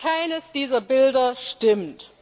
Keines dieser Bilder stimmt!